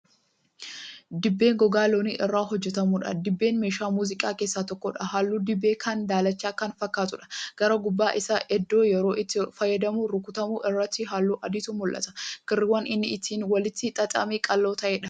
Dibbee gogaa loonii irraa hojjatamuudha. dibbeen meeshaa muuziqaa keessaa tokkodha. halluun dibbee kanaa daalacha Kan fakkaatudha. gara gubbaa Isaa iddoo yeroo itti fayyadamnu rukutamu irratti halluu adiitu mul'ata. kirriiwwan inni ittiin walitti xaxame qaqal'oo taa'ee mul'ata.